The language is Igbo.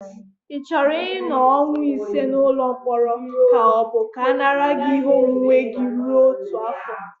Ị chọrọ ịnọ ọnwa ise n'ụlọ mkpọrọ ka ọ bụ ka a nara gị ihe onwunwe gị rue otu afọ?